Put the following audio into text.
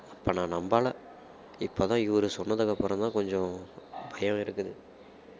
அப்ப நான் நம்பலை இப்பதான் இவரு சொன்னதுக்கு அப்புறம்தான் கொஞ்சம் பயம் இருக்குது